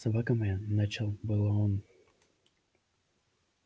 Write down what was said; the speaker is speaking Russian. собака моя начал было он